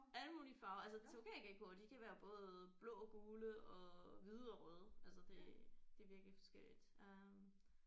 Alle mulige farver altså tokaygekkoer de kan være både blå gule og hvide og røde altså det det er virkelig forskelligt øh